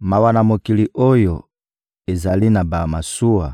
Mawa na mokili oyo ezali na bamasuwa